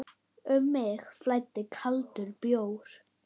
Um mig flæddi kaldur bjór.